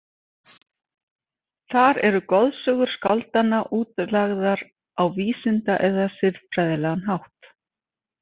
Þar eru goðsögur skáldanna útlagðar á vísinda- eða siðfræðilegan hátt.